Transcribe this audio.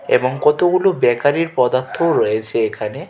এবং কতগুলো ব্যাকারির পদার্থও রয়েছে এখানে।